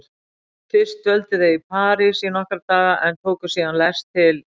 Fyrst dvöldu þau í París í nokkra daga en tóku síðan lest til